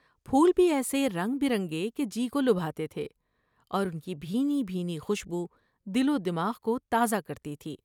پھول بھی ایسے رنگ برنگے کہ بی کو لبھاتے تھے اور ان کی بھینی بھینی خوشبودل و دماغ کو تازہ کرتی تھی ۔